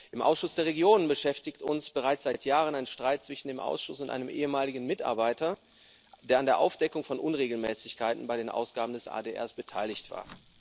Im Ausschuss der Regionen beschäftigt uns bereits seit Jahren ein Streit zwischen dem Ausschuss und einem ehemaligen Mitarbeiter, der an der Aufdeckung von Unregelmäßigkeiten bei den Ausgaben des AdR beteiligt war.